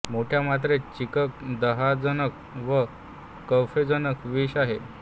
मोठ्या मात्रेंत चित्रक दाहजनक व कैफजनक विष आहे